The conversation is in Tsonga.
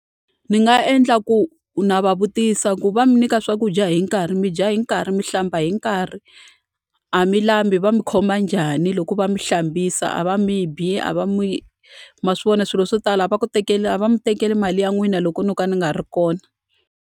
Ndzi nga endla ku na va vutisa ku va mi nyika swakudya hi nkarhi? Mi dya hi nkarhi? Mi hlamba hi nkarhi? A mi lambi? Va mu khoma njhani loko va mi hlambisa? A va mi bi? A va ma swi vona swilo swo tala a va ku a va mi tekeli mali ya n'wina loko no ka ni nga ri kona?